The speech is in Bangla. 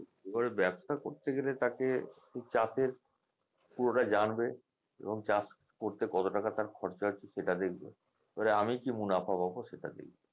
এবারে ব্যবসা করতে গেলে তাকে সে চাষের পুরোটা জানবে এবং চাষ করতে কত টাকা তার খরচা হচ্ছে সেটা দেখবে এবার আমি কি মুনাফা পাবো সেটা দেখবে